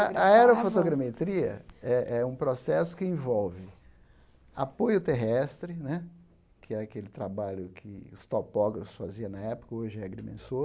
A aerofotogrametria é é um processo que envolve apoio terrestre né, que é aquele trabalho que os topógrafos faziam na época, hoje é agrimensor,